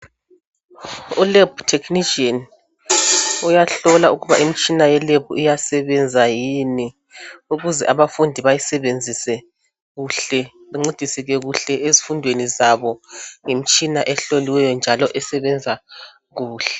U"lab technician" uyahlola ukuba imitshina ye"lab" iyasebenza kuhle yini ukuze abafundi bayisebenzise kuhle bancediseke kuhle ezifundweni zabo ngemitshina ehloliweyo njalo esebenza kuhle.